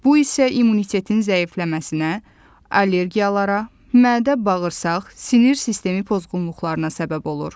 Bu isə immunitetin zəifləməsinə, allergiyalara, mədə-bağırsaq, sinir sistemi pozğunluqlarına səbəb olur.